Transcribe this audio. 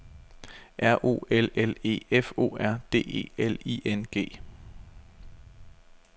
R O L L E F O R D E L I N G